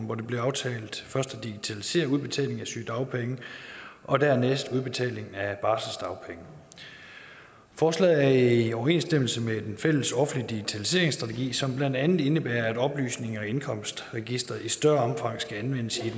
hvor det blev aftalt at digitalisere først udbetalingen af sygedagpenge og dernæst udbetalingen af barselsdagpenge forslaget er i overensstemmelse med den fælles offentlige digitaliseringsstrategi som blandt andet indebærer at oplysninger i indkomstregisteret i større omfang skal anvendes i